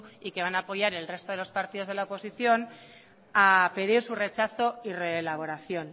y que van a apoyar el resto de los partidos de la oposición a pedir su rechazo y reelaboración